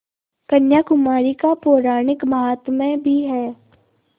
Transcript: कन्याकुमारी का पौराणिक माहात्म्य भी है